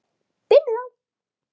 Byrjum þá.